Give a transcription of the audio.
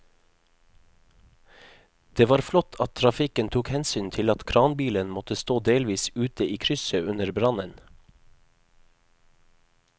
Det var flott at trafikken tok hensyn til at kranbilen måtte stå delvis ute i krysset under brannen.